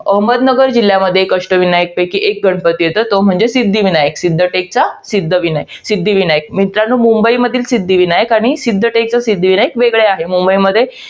अहमदनगर जिल्ह्यामध्ये, अष्टविनायकापैकी एक गणपती येतो. तो म्हणजे, सिद्धिविनायक. सिद्धटेकचा सिद्धविनायक~ सिद्धिविनायक. मित्रांनो, मुंबईचा सिद्धिविनायक आणि सिद्धटेकचा सिद्धिविनायक वेगळे आहे. मुंबईमध्ये